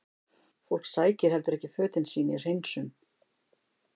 Fólk sækir heldur ekki fötin sín í hreinsun?